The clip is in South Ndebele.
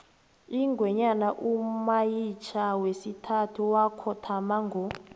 ingwenyama umayitjha wesithathu wakhothama ngo